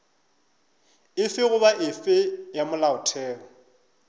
efe goba efe ya molaotheo